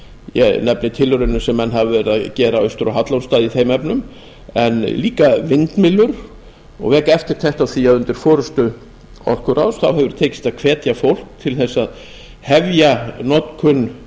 ég nefni tilraunir sem menn hafa verið að gera austur á hallormsstað í þeim efnum en líka vindmyllur og vek eftirtekt á því að undir forustu orkuráðs hefur tekist að hvetja fólk til að hefja notkun